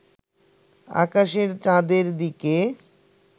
আকাশের চাঁদের দিকে